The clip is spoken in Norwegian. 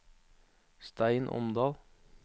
Stein Omdal